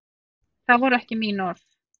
Það voru ekki mín orð.